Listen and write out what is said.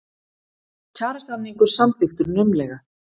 Kjarasamningur samþykktur naumlega